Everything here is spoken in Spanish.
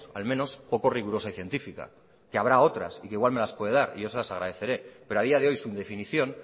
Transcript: al menos poco rigurosa y científica que habrá otras y que igual me las puede dar y yo se las agradeceré pero a día de hoy su definición